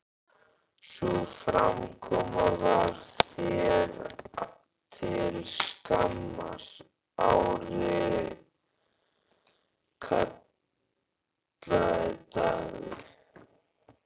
Sú framkoma var þér til skammar, Ari, kallaði Daði.